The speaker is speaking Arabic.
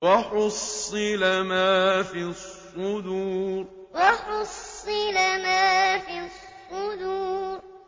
وَحُصِّلَ مَا فِي الصُّدُورِ وَحُصِّلَ مَا فِي الصُّدُورِ